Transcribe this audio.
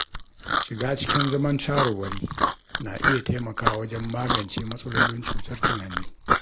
Shiga cikin zaman shawarwari na iya taimakawa wajen magance matsalolin cutar tunani.